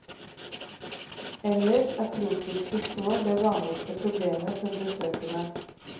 Ellers er tropiske sår det vanligste problemet for besøkende.